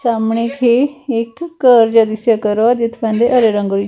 ਸਾਮਣੇ ਇੱਕ ਘਰ ਜਿਹਾ ਦਿਸਾ ਕਰੋ ਹੈ ਜਿਸਾ ਪਾਂਦੇ ਹਰੇ ਰੰਗ ਰੀ --